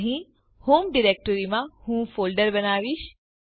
અહીં હોમ ડિરેક્ટરીમાં હું ફોલ્ડર બનાવીશ